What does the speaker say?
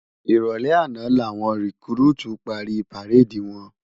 Iròlè àná lá wòn rikúrútú pári párédi wòn